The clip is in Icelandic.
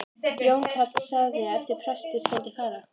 Jón karl sagði að eftir presti skyldi fara.